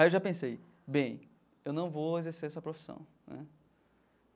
Aí eu já pensei, bem, eu não vou exercer essa profissão né.